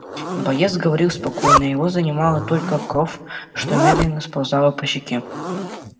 боец говорил спокойно его занимала только кровь что медленно сползала по щеке